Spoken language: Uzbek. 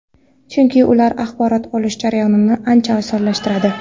Chunki ular axborot olish jarayonini ancha osonlashtiradi.